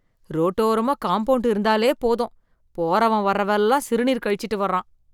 ரோட்டோரமா compound இருந்தாலே போதும் போகிறவன் வரவன் எல்லாம் சிறுநீர் கழிச்சிட்டு வரான்